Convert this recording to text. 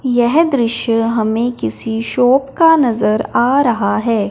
यह दृश्य हमें किसी शॉप का नजर आ रहा है।